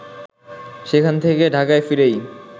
সেখান থেকে ঢাকায় ফিরেই